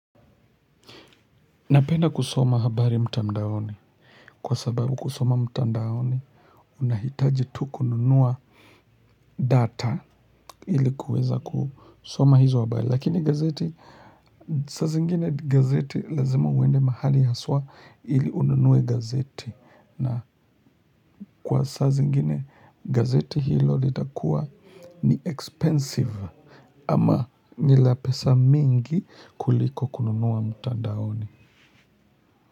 Napenda kusoma habari mtandaoni kwa sababu kusoma mtandaoni unahitaji tu kununua data ili kuweza kusoma hizo habari lakini gazeti. Saa zingine gazeti lazima uende mahali haswa ili ununue gazeti na kwa saa zingine gazeti hilo litakuwa ni expensive. Ama ni la pesa mingi kuliko kununua mtandaoni.